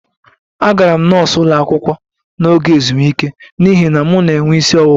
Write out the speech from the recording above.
Agara m nọọsụ ụlọ akwụkwọ n'oge ezumike n'ihi na m na-enwe isi ọwụwa